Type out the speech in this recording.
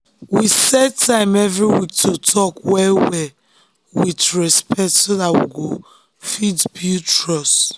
we set time every week to talk well-well with respect so that we go fit build trust.